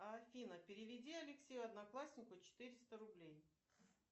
афина переведи алексею однокласснику четыреста рублей